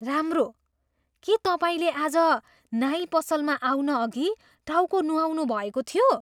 राम्रो! के तपाईँले आज नाई पसलमा आउनअघि टाउको नुहाउनु भएको थियो?